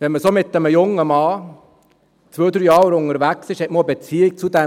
Wenn man mit so einem jungen Mann zwei, drei Jahre unterwegs ist, hat man eine Beziehung zu diesem.